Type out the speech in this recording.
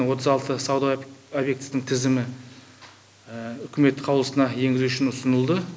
отыз алты сауда объектісінің тізімі үкімет қаулысына енгізу үшін ұсынылды